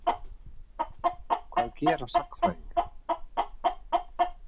Hvað gera sagnfræðingar?